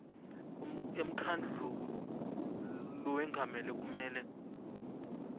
emkhandlu lowengamele kumele